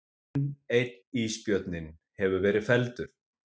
Enn einn ísbjörninn hefur verið felldur